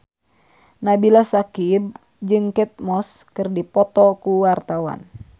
Nabila Syakieb jeung Kate Moss keur dipoto ku wartawan